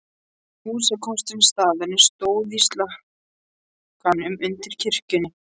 Húsakostur staðarins stóð í slakkanum undir kirkjunni.